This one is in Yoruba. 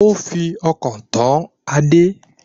Ó fi ọkàn tán Adé